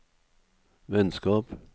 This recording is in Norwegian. vennskap